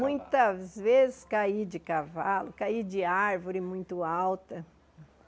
Muitas vezes caí de cavalo, caí de árvore muito alta.